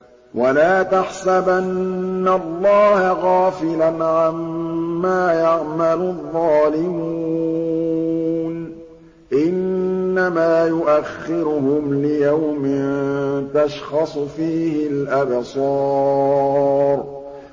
وَلَا تَحْسَبَنَّ اللَّهَ غَافِلًا عَمَّا يَعْمَلُ الظَّالِمُونَ ۚ إِنَّمَا يُؤَخِّرُهُمْ لِيَوْمٍ تَشْخَصُ فِيهِ الْأَبْصَارُ